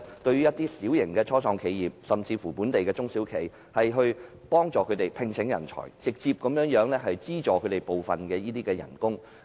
對於小型的初創企業及本地中小企，我建議政府考慮協助他們聘請人才並直接資助部分薪酬。